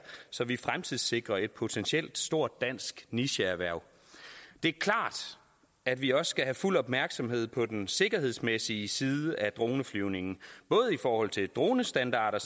så vi fremtidssikrer et potentielt stort dansk nicheerhverv det er klart at vi også skal have fuld opmærksomhed på den sikkerhedsmæssige side af droneflyvningen både i forhold til dronestandarder